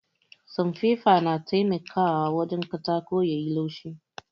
Sanfefa na taimakawa wajen sa katako yayi laushi